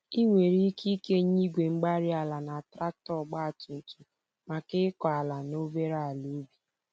Ị nwere ike ikenye Igwe-mgbárí-ala na traktọ ọgba tum tum maka ịkọ ala na obere àlà ubi